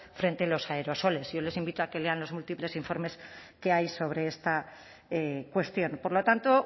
frente a los aerosoles yo les invito a que lean los múltiples informes que hay sobre esta cuestión por lo tanto